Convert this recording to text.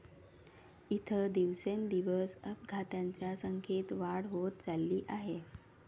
इथं दिवसेंदिवस अपघातांच्या संख्येत वाढ होत चालली आहे.